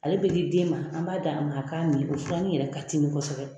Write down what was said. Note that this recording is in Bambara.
Ale bɛ di den ma. An b'a d'a ma a k'a min. O fura nin yɛrɛ katimi kosɛbɛ